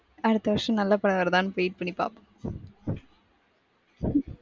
அடுத்த வருஷம் நல்ல படம் வருதான்னு wait பண்ணி பாப்போம் .